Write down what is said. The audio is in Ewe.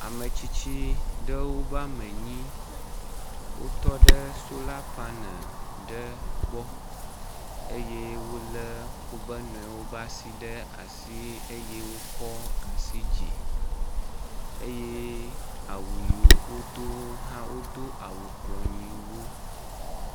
Ame tsitsi ɖewo woame nyi, wotɔ ɖe sola paneli ɖe gbɔ eye wolé woƒe nɔewo ƒe asi ɖe asi eye wokɔ asi dzi eye awu yiwo wodo hã wodo awu ……